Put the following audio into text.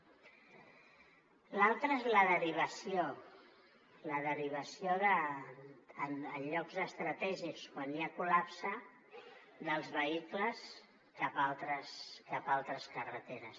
l’altra és la derivació la derivació en llocs estratègics quan hi ha col·lapse dels vehicles cap a altres carreteres